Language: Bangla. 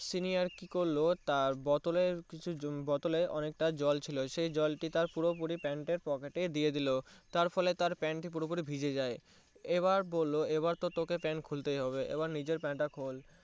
Senior কি করলো তার বোতলে অনেক তা জল ছিল স জল টি তার পুরোপুরি Pant এর পকেটে দিয়ে দিলো তার ফলে তার Pant টি পুরো ফ্রী ভিজে যায় এবার বললো এবার তো তোকে Pant খুলতেই হবে এবার নিজের Pant তা খোল